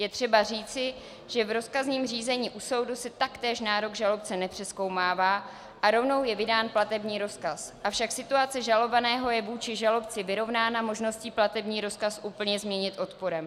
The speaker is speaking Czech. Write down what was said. Je třeba říci, že v rozkazním řízení u soudu se taktéž nárok žalobce nepřezkoumává a rovnou je vydán platební rozkaz, avšak situace žalovaného je vůči žalobci vyrovnána možností platební rozkaz úplně změnit odporem.